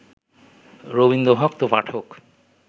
রবীন্দ্রভক্ত পাঠক